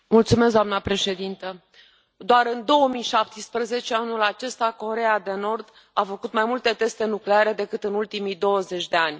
Doamnă președintă, doar în 2017, anul acesta, Coreea de Nord a făcut mai multe teste nucleare decât în ultimii douăzeci de ani.